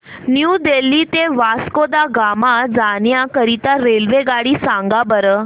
new Delhi ते वास्को द गामा जाण्या करीता रेल्वेगाडी सांगा बरं